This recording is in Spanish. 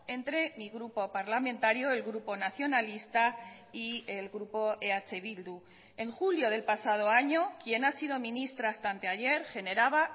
entre mi grupo parlamentario el grupo nacionalista y el grupo eh bildu en julio del pasado año quien ha sido ministra hasta anteayer generaba